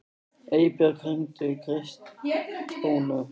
Eybjört, hringdu í Kristrúnu.